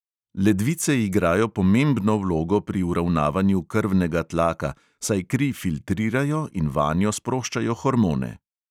Ledvice igrajo pomembno vlogo pri uravnavanju krvnega tlaka, saj kri filtrirajo in vanjo sproščajo hormone.